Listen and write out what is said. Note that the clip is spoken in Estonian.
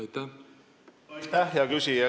Aitäh, hea küsija!